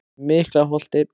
Miklaholti